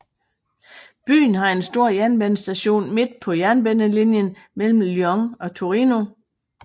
Byen har en stor jernbanestation midt på jernbanelinjen mellem Lyon og Torino